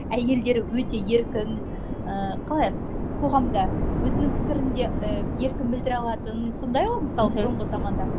әйелдері өте еркін ыыы қалай қоғамда өзінің пікірін де ы еркін білдіре алатын сондай ғой мысалы бұрынғы заманда